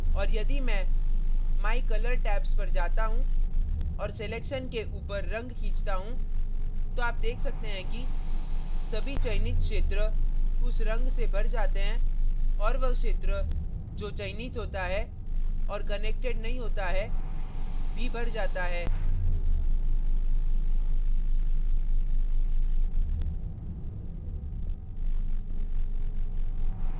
और यदि मैं my colour tabs पर जाता हूँ और selection के ऊपर रंग खींचता हूँ तो आप देख सकते हैं कि सभी चयनित क्षेत्र उस रंग से भर जाते हैं और वह क्षेत्र जो चयनित होता है और connected नहीं होता है भी भर जाता है